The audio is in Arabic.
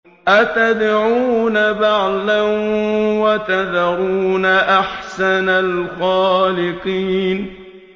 أَتَدْعُونَ بَعْلًا وَتَذَرُونَ أَحْسَنَ الْخَالِقِينَ